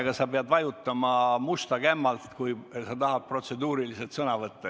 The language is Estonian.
Aga sa pead vajutama musta kämmalt, kui sa tahad protseduuriliselt sõna võtta.